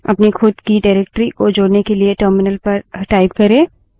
अपनी खुद की निर्देशिका directory को जोड़ने के लिए terminal पर type करे